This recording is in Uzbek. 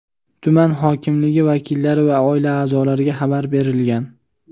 tuman hokimligi vakillari va oila a’zolariga xabar berilgan.